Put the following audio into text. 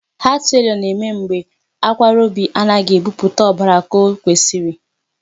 Heart failure na-eme mgbe akwara obi anaghị ebupụta ọbara ka ọ kwesiri.